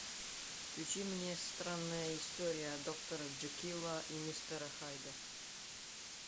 включи мне странная история доктора джекила и мистера хайда